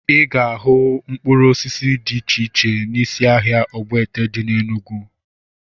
Ị ga-ahụ mkpụrụ osisi dị iche iche n'isi ahịa Ogbete dị na Enugwu